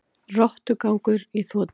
Rottugangur í þotu